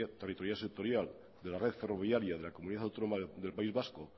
territorial sectorial de la red ferroviaria de la comunidad autónoma del país vasco